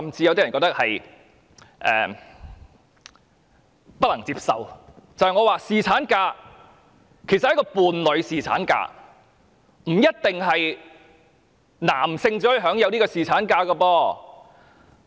我認為侍產假，其實是一個伴侶侍產假，不一定是男性才可以享有侍產假。